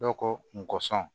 Dɔw ko n kosɔn